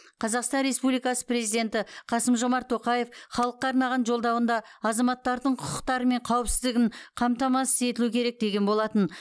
қазақстан республикасы президенті қасым жомарт тоқаев халыққа арнаған жолдауында азаматтардың құқықтары мен қауіпсіздігін қамтамасыз етілу керек деген болатын